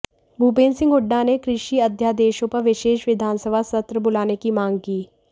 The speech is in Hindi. भूपेंद्र सिंह हुड्डा ने कृषि अध्यादेशों पर विशेष विधानसभा सत्र बुलाने की मांग की